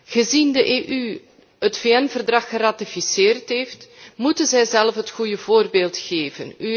Aangezien de EU het VN Verdrag geratificeerd heeft, moet zij zelf het goede voorbeeld geven.